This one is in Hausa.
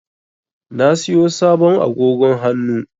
Na siyo sabon agogo hannu.